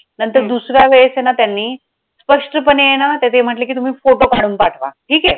नंतर दुसरा वेळेस आहे ना त्यांनी स्पष्टपणे आहे ना तर ते म्हंटलं कि तुम्ही photo काढून पाठवा ठीक आहे.